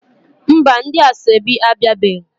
Mba, ndi asoebi abiabeghi